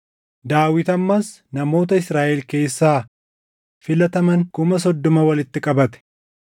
Daawit ammas namoota Israaʼel keessaa filataman kuma soddoma walitti qabate.